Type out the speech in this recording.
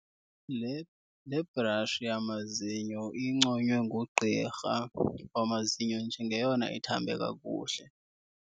Le le brashi yamazinyo inconywe ngugqirha wamazinyo njengeyona ithambe kakuhle.